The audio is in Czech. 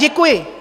Děkuji.